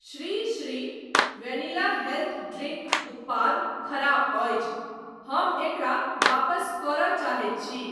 Shri Shri vanilla health drink उत्पाद खराब अछि, हम एकरा वापस करय चाहैत छी।